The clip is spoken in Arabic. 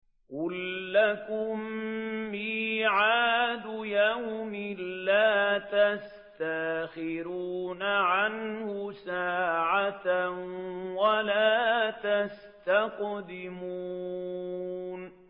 قُل لَّكُم مِّيعَادُ يَوْمٍ لَّا تَسْتَأْخِرُونَ عَنْهُ سَاعَةً وَلَا تَسْتَقْدِمُونَ